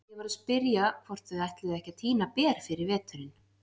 Ég var að spyrja hvort þau ætluðu ekki að tína ber fyrir veturinn.